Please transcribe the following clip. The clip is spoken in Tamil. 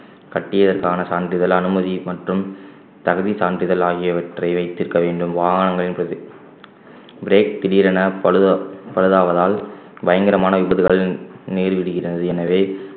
கட்டியதற்கான சான்றிதழ் அனுமதி மற்றும் தகுதி சான்றிதழ் ஆகியவற்றை வைத்திருக்க வேண்டும் வாகனங்கள் என்பது brake திடீரென பழுத~ பழுதாவதால் பயங்கரமான விபத்துகள் நேரிடுகிறது எனவே